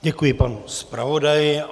Děkuji panu zpravodaji.